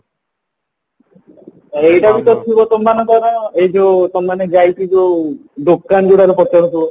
ଏଇଟା ବି ତ ଥିବ ତମମାନଙ୍କର ଏଇ ଯୋଉ ତମେ ମାନେ ଯାଇକି ଯୋଉ ଦୋକାନ ଗୁଡାରେ ପଚାରୁଥିବା